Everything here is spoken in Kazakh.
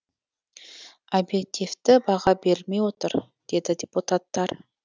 объективті баға берілмей отыр деді депутаттар